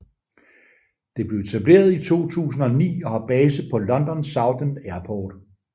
Det blev etableret i 2009 og har base på London Southend Airport